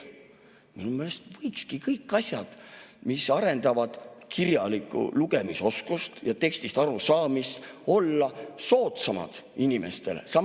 Minu meelest võiks kõik asjad, mis arendavad lugemise ja tekstist arusaamise oskust, olla inimestele soodsamad.